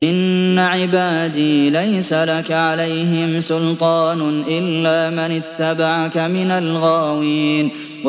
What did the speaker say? إِنَّ عِبَادِي لَيْسَ لَكَ عَلَيْهِمْ سُلْطَانٌ إِلَّا مَنِ اتَّبَعَكَ مِنَ الْغَاوِينَ